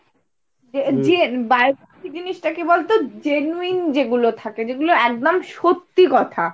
যে হম biography জিনিসটা কি বলতো? genuine যেগুলো থাকে যেগুলো একদম সত্যি কথা।